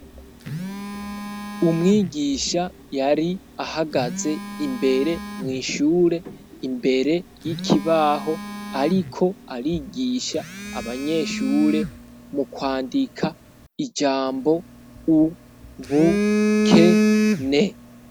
Umwigisha yari ahagaze imbere mwishure imbere y'ikibaho, ariko arigisha abanyeshure mu kwandika ijambo u bu ke ne.